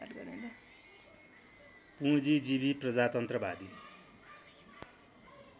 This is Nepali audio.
पुँजीजीवी प्रजातन्त्रवादी